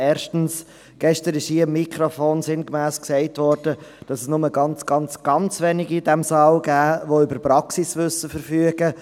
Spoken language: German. Erstens wurde hier gestern am Mikrofon sinngemäss gesagt, dass es nur ganz, ganz wenige in diesem Saal gebe, die über Praxiswissen verfügten.